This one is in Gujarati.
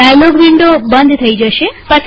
ડાયલોગ વિન્ડો બંધ થઇ જશે